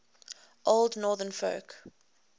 old northern folk